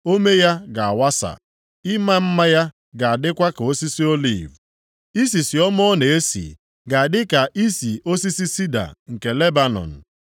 ome ya ga-awasa, ịma mma ya ga-adịkwa ka osisi oliv, isisi ọma ọ na-esi ga-adị ka isi osisi sida nke Lebanọn.